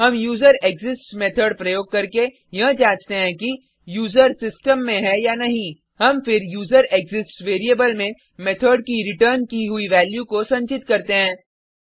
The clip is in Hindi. हम userExistsमेथड़ प्रयोग करके यह जांचते हैं कि यूजर सिस्टम में है या नहीं हम फिर यूजरेक्सिस्ट्स वेरिएबल में मेथड की रिटर्न की हुई वैल्यू को संचित करते हैं